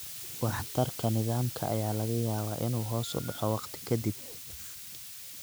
Waxtarka nidaamka ayaa laga yaabaa inuu hoos u dhaco wakhti ka dib.